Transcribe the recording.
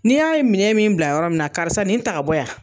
Nii y'a ye minɛ min bila yɔrɔ min na karisa nin ta ka bɔ yan.